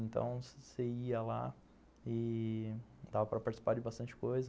Então, você ia lá e dava para participar de bastante coisa.